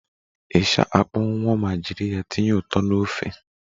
Ịsha akpọnwunwọ ma jiri ya tinye ụtọ na ofe